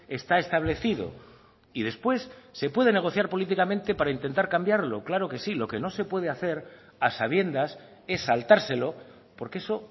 está establecido y después se puede negociar políticamente para intentar cambiarlo claro que sí lo que no se puede hacer a sabiendas es saltárselo porque eso